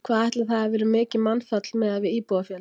Hvað ætli það hafi verið mikið mannfall miðað við íbúafjölda?